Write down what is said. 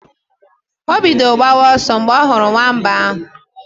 O bidoro gbawa ọsọ mgbe ọ hụrụ nwamba ahụ.